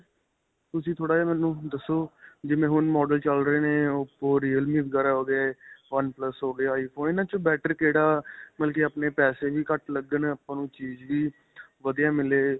ਤੁਸੀਂ ਥੋੜਾ ਜਿਹਾ ਮੈਨੂੰ ਦੱਸੋ, ਜਿਵੇਂ ਹੁਣ models ਚੱਲ ਰਹੇ ਨੇ, oppo, realme ਵਗੈਰਾ ਹੋਗੇ. oneplus ਹੋ ਗਿਆ. iphone ਇਨ੍ਹਾਂ 'ਚੋਂ better ਕਿਹੜਾ ਮਤਲਬ ਕੀ ਆਪਣੇ ਪੈਸੇ ਵੀ ਘੱਟ ਲੱਗਣ ਆਪਾਂ ਨੂੰ ਚੀਜ ਵੀ ਵਧੀਆ ਮਿਲੇ.